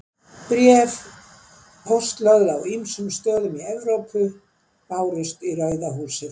Bréf póstlögð á ýmsum stöðum í Evrópu bárust í Rauða húsið.